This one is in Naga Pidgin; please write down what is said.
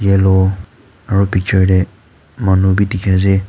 yellow aro picture te manu bi dikhi ase.